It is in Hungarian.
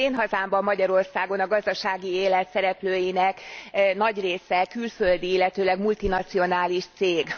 Az én hazámban, Magyarországon, a gazdasági élet szereplőinek nagy része külföldi, illetőleg multinacionális cég.